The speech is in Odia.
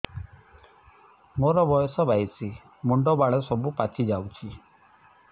ମୋର ବୟସ ବାଇଶି ମୁଣ୍ଡ ବାଳ ସବୁ ପାଛି ଯାଉଛି